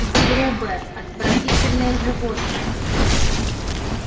вы грубое отвратительное животное